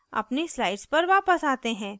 अपनी slides पर वापस आते हैं